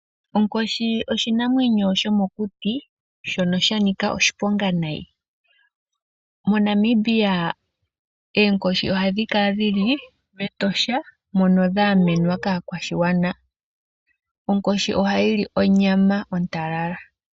Onkoshi oshinamwenyo shomokuti shono sha nika oshiponga nayi. Mo Namibia oonkoshi ohadhi kala dhili mEtosha mono dha gamenwa kaakwashigwana. Onkoshi ohayi li onyama ontalala.